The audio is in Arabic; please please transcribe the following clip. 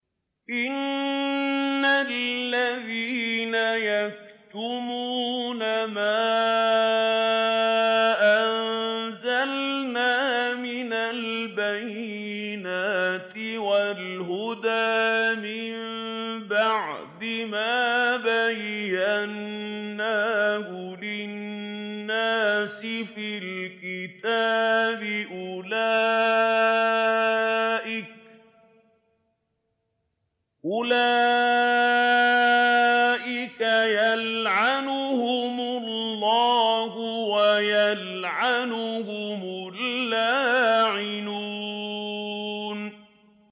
إِنَّ الَّذِينَ يَكْتُمُونَ مَا أَنزَلْنَا مِنَ الْبَيِّنَاتِ وَالْهُدَىٰ مِن بَعْدِ مَا بَيَّنَّاهُ لِلنَّاسِ فِي الْكِتَابِ ۙ أُولَٰئِكَ يَلْعَنُهُمُ اللَّهُ وَيَلْعَنُهُمُ اللَّاعِنُونَ